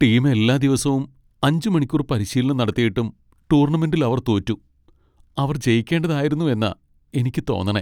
Team എല്ലാ ദിവസോം അഞ്ച് മണിക്കൂർ പരിശീലനം നടത്തിയിട്ടും ടൂർണമെന്റിൽ അവർ തോറ്റു. അവർ ജയിക്കേണ്ടതായിരുന്നു എന്നാ എനിക്ക് തോന്നണേ .